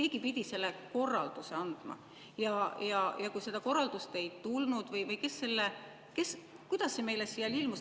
Keegi pidi selle korralduse andma ja kui seda korraldust ei tulnud, siis kuidas see meile siia ilmus?